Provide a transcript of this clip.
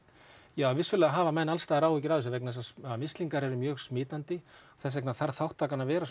já vissulega hafa menn alls staðar áhyggjur af þessu vegna þess að mislingar eru mjög smitandi og þess vegna þarf þátttakan að vera